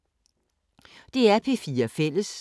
DR P4 Fælles